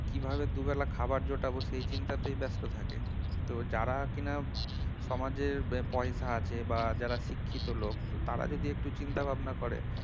কিভাবে দুবেলা খাবার জোটাবো সেই চিন্তা তো ব্যস্ত থাকে তো যারা কিনা সমাজের পয়সা আছে বা যারা শিক্ষিত লোক তারা যদি একটু চিন্তা ভাবনা করে